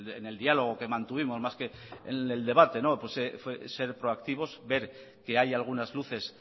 en el diálogo que mantuvimos más que en el debate ser proactivos ver que hay algunas luces